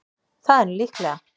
Það er nú líklega.